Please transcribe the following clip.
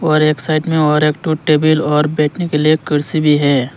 और एक साइड में और एक ठो टेबल और बैठने के लिए कुर्सी भी है।